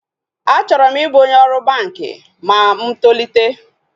Achọrọ m ịbụ onye ọrụ banki ma mụ tolite